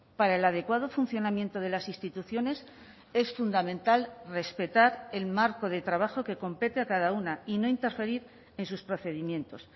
para el adecuado funcionamiento de las instituciones es fundamental respetar el marco de trabajo que compete a cada una y no interferir en sus procedimientos